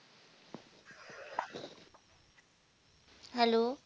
hello